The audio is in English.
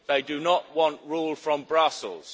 They do not want rule from Brussels.